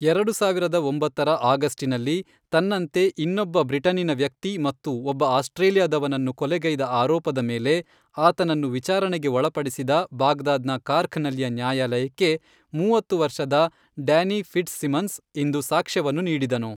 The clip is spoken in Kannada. ಎರಡು ಸಾವಿರದ ಒಂಬತ್ತರ ಆಗಸ್ಟಿನಲ್ಲಿ ತನ್ನಂತೆ ಇನ್ನೊಬ್ಬ ಬ್ರಿಟನ್ನಿನ ವ್ಯಕ್ತಿ ಮತ್ತು ಒಬ್ಬ ಆಸ್ಟ್ರೇಲಿಯಾದವನನ್ನು ಕೊಲೆಗೈದ ಆರೋಪದ ಮೇಲೆ ಆತನನ್ನು ವಿಚಾರಣೆಗೆ ಒಳಪಡಿಸಿದ ಬಾಗ್ದಾದ್‌ನ ಕಾರ್ಖ್‌ನಲ್ಲಿಯ ನ್ಯಾಯಾಲಯಕ್ಕೆ, ಮೂವತ್ತು ವರ್ಷದ ಡ್ಯಾನಿ ಫಿಟ್ಜ್‌ಸಿಮನ್ಸ್, ಇಂದು ಸಾಕ್ಷ್ಯವನ್ನು ನೀಡಿದನು.